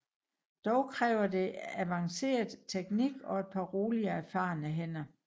Dog kræver det advanceret teknik og et par rolige og erfarne hænder